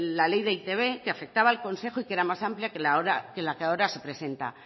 la ley de e i te be que afectaba al consejo y que era más amplia que la que ahora se presenta